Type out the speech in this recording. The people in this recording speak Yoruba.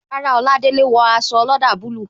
Rárá, Oladele o wo aṣọ ọlọ́dà bulu